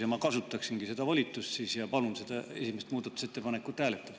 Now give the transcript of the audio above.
Ma siis kasutangi oma volitust ja palun seda esimest muudatusettepanekut hääletada.